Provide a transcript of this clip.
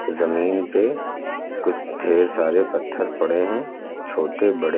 जमीन पे कुछ ढेर सारे पत्थर पड़े है छोटे बड़े।